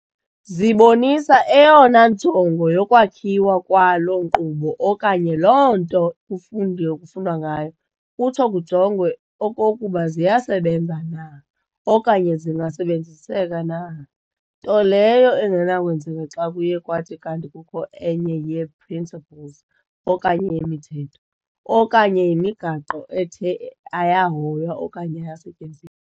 Zibonisa eyona njongo yokwakhiwa kwaloo nkqubo okanye loo nto kufundwa ngayo, kutsho kujongwe okokuba ziyasebenza na, okanye zingasebenziseka na, nto leyo engenakwenzeka xa kuye kwathi kanti kukho enye yee"principles" okanye yemithetho, okanye yemigaqo ethe ayahoywa okanye ayasetyenzi.